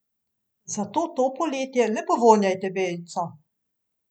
Zato to poletje le povonjajte vejico!